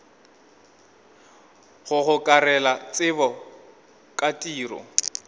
go gokarela tsebo ka tiro